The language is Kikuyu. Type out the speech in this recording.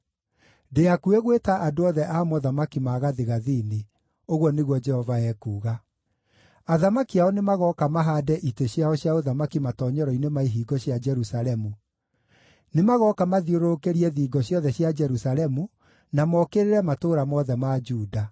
Ndĩ hakuhĩ gwĩta andũ othe a mothamaki ma gathigathini,” ũguo nĩguo Jehova ekuuga. “Athamaki ao nĩmagooka mahaande itĩ ciao cia ũthamaki matoonyero-inĩ ma ihingo cia Jerusalemu; nĩmagooka mathiũrũrũkĩrie thingo ciothe cia Jerusalemu, na mokĩrĩre matũũra mothe ma Juda.